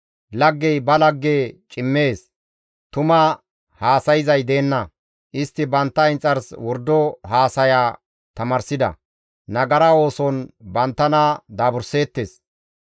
Laggey ba lagge cimmees; tuma haasayzay deenna; istti bantta inxars wordo haasaya tamaarsida. Nagara ooson banttana daaburseettes.